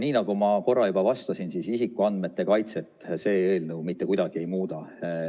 No nagu ma korra juba vastasin, siis isikuandmete kaitset see eelnõu mitte kuidagi ei muuda.